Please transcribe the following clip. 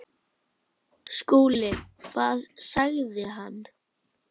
SKÚLI: Hvað sagði hann?